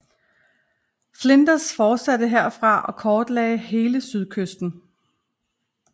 Flinders fortsatte herfra og kortlagde hele sydkysten